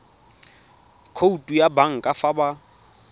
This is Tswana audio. khoutu ya banka fa ba